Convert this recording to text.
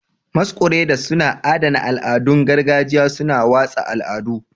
Masquerades suna adana al'adun gargajiya, suna watsa al'adu.